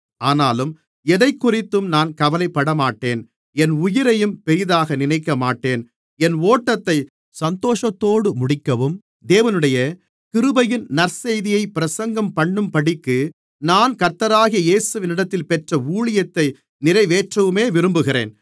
ஆனாலும் எதைக்குறித்தும் நான் கவலைப்படமாட்டேன் என் உயிரையும் பெரிதாக நினைக்கமாட்டேன் என் ஓட்டத்தை சந்தோஷத்தோடு முடிக்கவும் தேவனுடைய கிருபையின் நற்செய்தியைப் பிரசங்கம்பண்ணும்படிக்கு நான் கர்த்தராகிய இயேசுவினிடத்தில் பெற்ற ஊழியத்தை நிறைவேற்றவுமே விரும்புகிறேன்